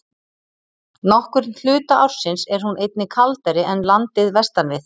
Nokkurn hluta ársins er hún einnig kaldari en landið vestan við.